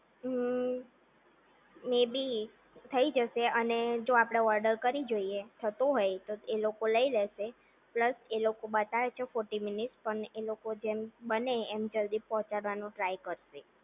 હમ્મ મે બી થઈ જશે અને જો આપણે ઓર્ડર કરી જોઈએ થતું હોય તો એ લોકો લઈ લેશે પ્લસ એ લોકો બતાવજો ફોટી મિનિટસ પણ એ લોકો જેમ બને એટલું જલ્દી પહોંચાડવાનું ટ્રાય કરશે